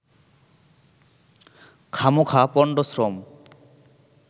খামোখা পন্ডশ্রম